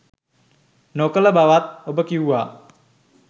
නොකළ බවත් ඔබ කිව්වා.